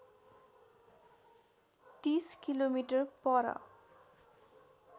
३० किमि पर